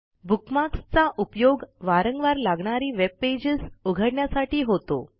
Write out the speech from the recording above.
bookmarks चा उपयोग वारंवार लागणारी वेब पेजेस उघडण्यासाठी होतो